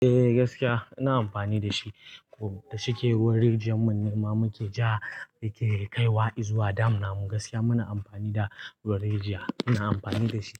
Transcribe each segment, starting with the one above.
Eh gaskiya ina amfani da shi. Kuma da shike ruwan rijiyar mun nema muke ja yake kaiwa izuwa dam namu gaskiya muna amfani da ruwan rijiya. Ina amfani da shi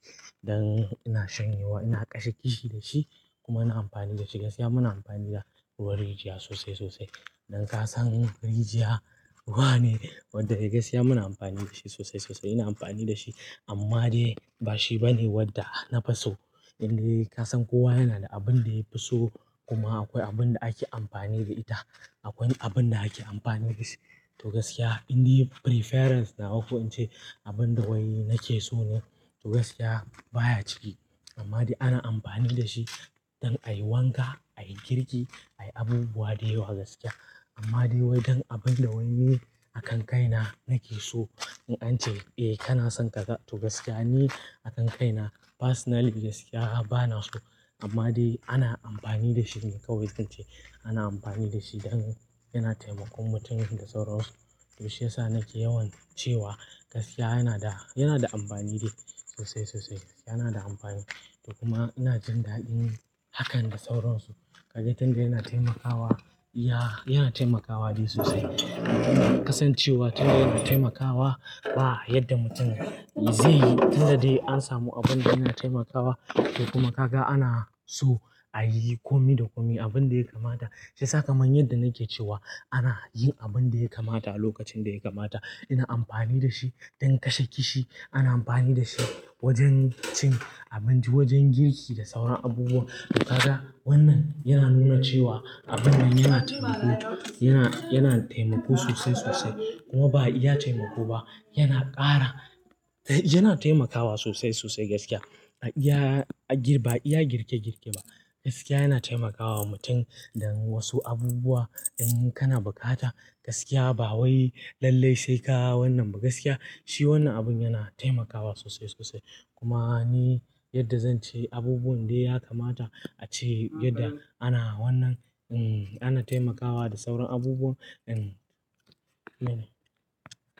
don ina sanyewa ina kashe kishi da shi kuma ina amfani da shi gaskiya muna amfani da ruwan rijiya sosai sosai. Don kasan rijiya wane? Wanda gaskiya muna amfani da shi sosai sosai. Ina amfani da shi amma dai ba shi bane wanda nafi so. Inde kasan kowa yana da abin da yafi so kuma akwai abin da ake amfani da ita. Akwai abin da ake amfani da shi to gaskiya inde preference nawa ko ince abin da wai nake so ne to gaskiya baya ciki. Amma dai ana amfani da shi don ayi wanka, ayi girki, ayi abubuwa dayawa gaskiya. Amma dai wai dan abin da wai ne a kan kaina nake so in ce eh kana son ka ga to gaskiya ni a kan kaina personally gaskiya bana so. Amma dai ana amfani da shi ne kawai tunce ana amfani da shi don yana taimakon mutum da sauransu. Shiyasa nake yawan cewa gaskiya yana da, yana da amfani dai sosai sosai. Yana da amfani to kuma ina jin daɗin hakan da sauransu. Kaga tunda yana taimakawa iya yana taimakawa dai sosai. Kasancewa tunda yana taimakawa ba yadda mutum zai yi. Tunda dai an samu abin da yana taimakawa to kuma kaka ana so ayi komi da komi abin da ya kamata. Shiyasa kamar yadda nake cewa ana yin abin da ya kamata a lokacin da ya kamata. Ina amfani da shi don kashe kishi. Ana amfani da shi wajen cin abinci, wajen girki da sauran abubuwa. Kaka wannan yana nuna cewa abun nan yana taimako, yana, yana taimako sosai sosai kuma ba iya taimako ba. Yana ƙara, eh yana taimakawa sosai sosai gaskiya. Ya gir ba iya girke girke ba. Gaskiya yana taimakawa mutum don wasu abubuwa in kana bukata gaskiya ba wai lallai sai ka hau wannan ba gaskiya. Shi wannan abin yana taimakawa sosai sosai kuma ni yadda zan ce abubuwan da ya kamata ace yadda ana wannan hmm ana taimakawa da sauran abubuwa in mene.